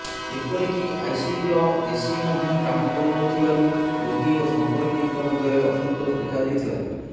ଏପରିକି ଆଇସିୟୁର ଏସି ମଧ୍ୟ କାମ କରୁନଥିବାରୁ ରୋଗୀ ଓ ସମ୍ପର୍କିୟଙ୍କ ମଧ୍ୟରେ ଅସନ୍ତୋଷ ଦେଖାଦେଇଥିଲା